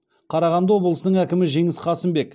қарағанды облысының әкімі жеңіс қасымбек